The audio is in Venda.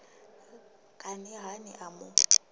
kani ha ni a mu